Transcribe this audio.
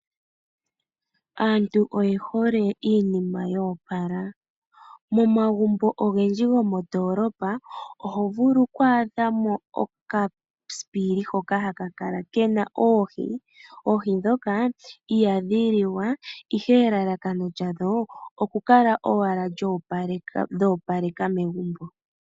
Aantu oye hole iinima yo opala. Momagumbo ogendji gomondoolopa oho vulu okuadha mo okasipili hoka haka kala ke na oohi. Oohi ndhoka ihadhi liwa, ihe elalakano lyadho okukala owala dho opaleka megumbo.